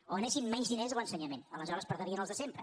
o anessin menys diners a l’ensenyament aleshores perdrien els de sem·pre